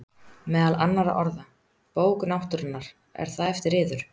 Meðal annarra orða: Bók náttúrunnar- er það eftir yður?